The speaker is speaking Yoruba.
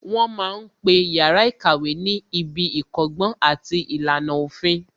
Wọ́n ma ń pe yàrá ìkàwé ní ibi ìkọ́gbọ́n àti ìlànà òfin